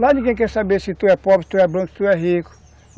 Lá ninguém quer saber se tu é pobre, se tu é branco, se tu é rico.